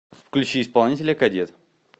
включи исполнителя кадет